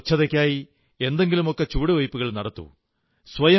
ശുചിത്വത്തിനായി എന്തെങ്കിലുമൊക്കെ ചുവടുവെയ്പ്പുകൾ നടത്തൂ